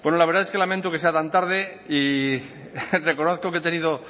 la verdad es que lamento que sea tan tarde y reconozco que he tenido